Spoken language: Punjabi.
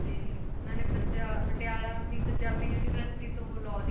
ਤੇ ਉਹਨਾਂ ਨੇ ਪੰਜਾ~ ਪਟਿਆਲਾ ਦੀ ਪੰਜਾਬੀ university ਤੋਂ law ਦੀ